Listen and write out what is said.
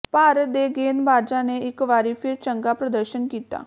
ਭਾਰਤ ਦੇ ਗੇਂਦਬਾਜ਼ਾਂ ਨੇ ਇੱਕ ਵਾਰੀ ਫਿਰ ਚੰਗਾ ਪ੍ਰਦਰਸ਼ਨ ਕੀਤਾ